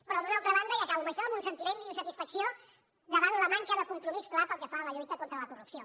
però d’una altra banda i acabo amb això amb un sentiment d’insatisfacció davant la manca de compromís clar pel que fa a la lluita contra la corrupció